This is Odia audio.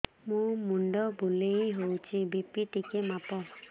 ମୋ ମୁଣ୍ଡ ବୁଲେଇ ହଉଚି ବି.ପି ଟିକେ ମାପ